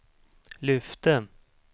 lyfte